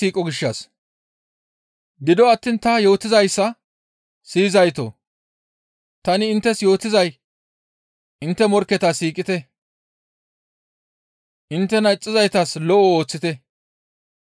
«Gido attiin ta yootizayssa siyizaytoo! Tani inttes yootizay intte morkketa siiqite; inttena ixxizaytas lo7o ooththite;